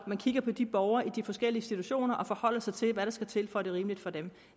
at man kigger på de borgere der er i forskellige situationer og forholder sig til hvad der skal til for at det er rimeligt for dem